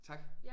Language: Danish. Tak